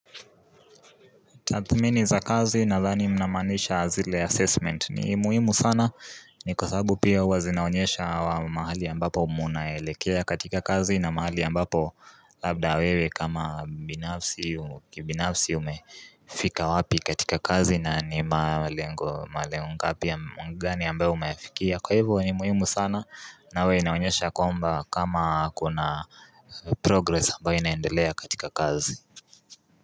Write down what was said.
Tathmini za kazi nadhani mnamaanisha zile assessment ni muhimu sana ni kwa sababu pia huwa zinaonyesha wa mahali ambapo munaelekea katika kazi na mahali ambapo labda wewe kama binafsi kibinafsi umefika wapi katika kazi na ni malengo malengo ngapi ya gani ambayo umefikia kwa hivyo ni muhimu sana na huwa inaonyesha kwamba kama kuna progress ambayo inaendelea katika kazi.